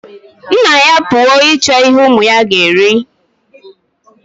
Nna-ya apuwo ichọ ihe umu-ya ga eri